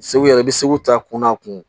Segu yɛrɛ i bɛ se k'u ta kunna kun